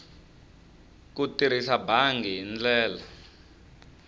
ku tirhisa bangi hi ndlela